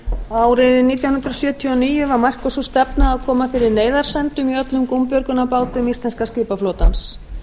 árið nítján hundruð sjötíu og níu var mörkuð sú stefna að koma fyrir neyðarsendum í öllum gúmbjörgunarbátum íslenska skipaflotans